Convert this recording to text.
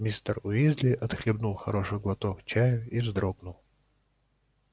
мистер уизли отхлебнул хороший глоток чаю и вздохнул